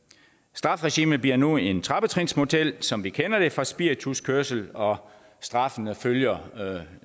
strafregimet bliver nu en trappetrinsmodel som vi kender det fra spirituskørsel og straffene følger